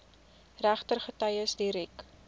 regter getuies direk